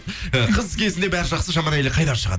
ы қыз кезінде бәрі жақсы жаман әйел қайдан шығады